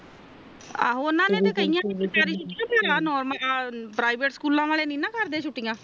ਆਹੋ ਉਹਨਾਂ ਨੇ ਤੇ ਕਹਿਆ ਸੀ ਸਰਕਾਰੀ ਛੁਟਿਆ ਪਰ ਆ ਨੌਰਮਲ ਆ ਪਰਾਵਿਟ ਸਕੂਲ ਵਾਲੇ ਨਾਇ ਨਾ ਕਰਦੇ ਛੁਟਿਆ